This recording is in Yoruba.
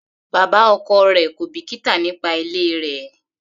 Bàbá ọkọ rẹ̀ kò bìkítà nípa ilé rẹ.